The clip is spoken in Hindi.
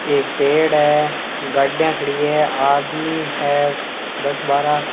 एक पेड़ है गाड़िया खड़ी है आदमी है दस बारह।